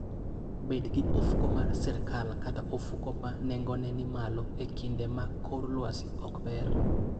Bed gi ofuko mar sirkal kata ofuko ma nengone ni malo e kinde ma kor lwasi ok ber.